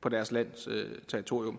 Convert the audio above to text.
på deres lands territorium